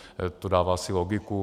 To dává asi logiku.